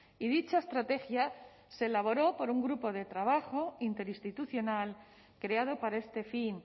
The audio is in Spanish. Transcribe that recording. y dicha estrategia se elaboró por un grupo de trabajo interinstitucional creado para este fin